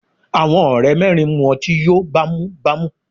Àwọn ọ̀rẹ́ mẹ́rin mú ọtí yóò bá mú bá mú.